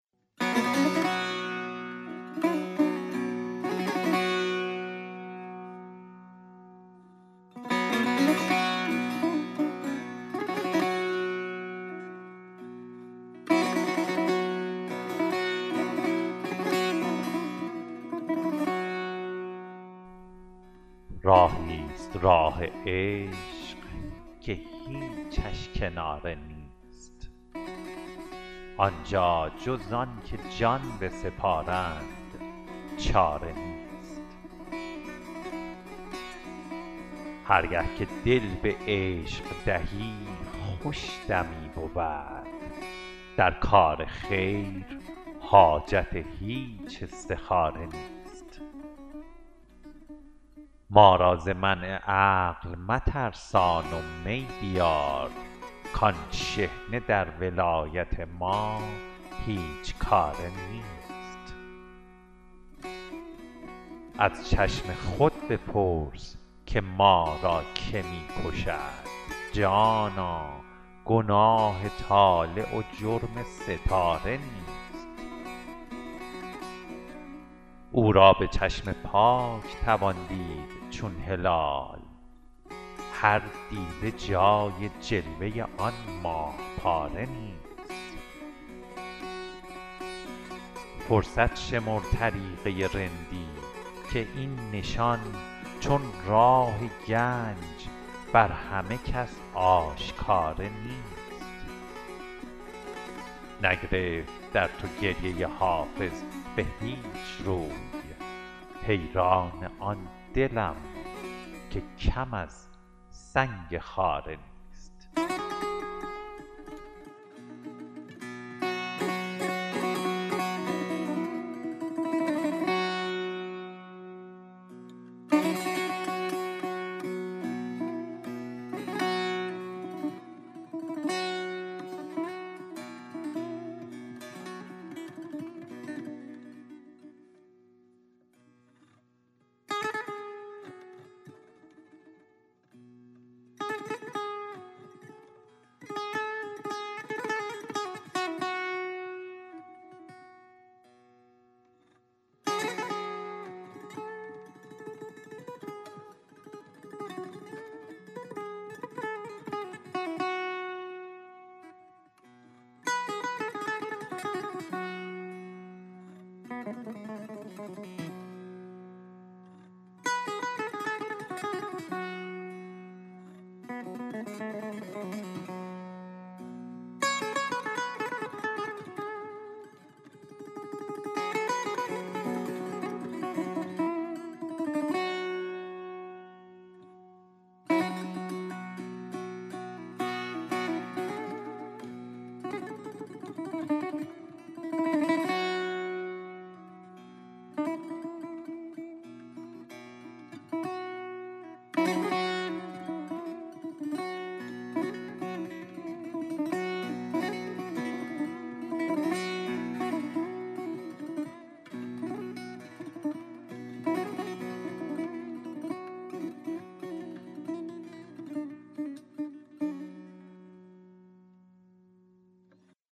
راهی ست راه عشق که هیچش کناره نیست آن جا جز آن که جان بسپارند چاره نیست هر گه که دل به عشق دهی خوش دمی بود در کار خیر حاجت هیچ استخاره نیست ما را ز منع عقل مترسان و می بیار کآن شحنه در ولایت ما هیچ کاره نیست از چشم خود بپرس که ما را که می کشد جانا گناه طالع و جرم ستاره نیست او را به چشم پاک توان دید چون هلال هر دیده جای جلوه آن ماه پاره نیست فرصت شمر طریقه رندی که این نشان چون راه گنج بر همه کس آشکاره نیست نگرفت در تو گریه حافظ به هیچ رو حیران آن دلم که کم از سنگ خاره نیست